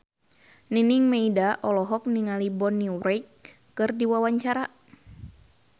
Nining Meida olohok ningali Bonnie Wright keur diwawancara